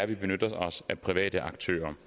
vi benytter os af private aktører